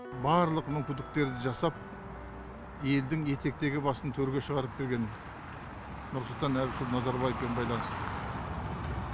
барлық мүмкіндіктерді жасап елдің етектегі басын төрге шығарып берген нұрсұлтан әбішұлы назарбаевпен байланысты